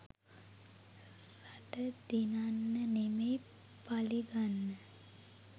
රට දිනන්න නෙමෙයි පලිගන්න.